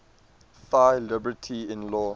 thy liberty in law